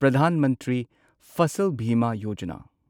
Pradhan Mantri Fasal Bima Yojana